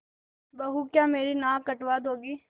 बहू क्या मेरी नाक कटवा दोगी